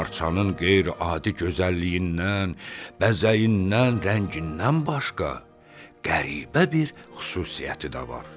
Parçanın qeyri-adi gözəlliyindən, bəzəyindən, rəngindən başqa, qəribə bir xüsusiyyəti də var.